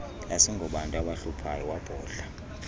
asingobantu abahluphayo wabhodla